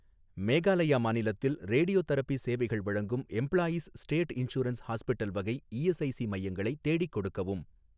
மேகாலயா மாநிலத்தில் ரேடியோதெரபி சேவைகள் வழங்கும் எம்ப்ளாயீஸ் ஸ்டேட் இன்சூரன்ஸ் ஹாஸ்பிட்டல் வகை இஎஸ்ஐஸி மையங்களை தேடிக் கொடுக்கவும்.